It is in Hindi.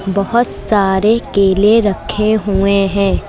बहुत सारे केले रखे हुए हैं।